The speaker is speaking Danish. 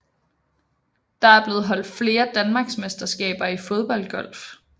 Der er blevet holdt flere danmarksmesterskaber i Fodboldgolf